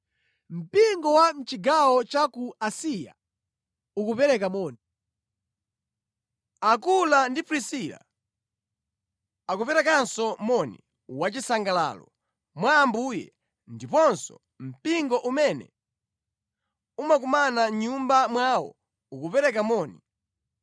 Mpingo wa mʼchigawo cha ku Asiya ukupereka moni. Akula ndi Prisila akuperekanso moni wachisangalalo, mwa Ambuye, ndiponso mpingo umene umakumana mʼnyumba mwawo ukupereka moni.